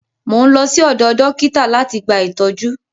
Mò ń lọ sí ọ̀dọ dọ́kítà láti gba ìtọ́jú.